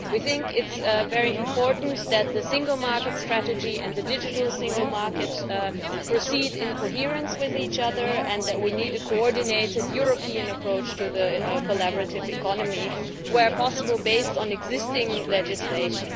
We think it is very important that the single market strategy and the digital single market proceed in coherence with each other and that we need a coordinated European approach to the collaborative economy, where possible based on existing legislation.